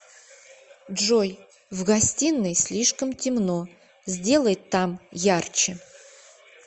джой в гостиной слишком темно сделай там ярче